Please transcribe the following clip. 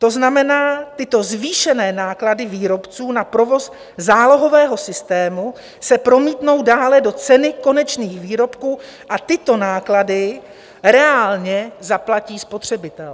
To znamená, tyto zvýšené náklady výrobců na provoz zálohového systému se promítnou dále do ceny konečných výrobků a tyto náklady reálně zaplatí spotřebitel.